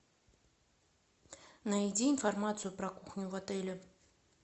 найди информацию про кухню в отеле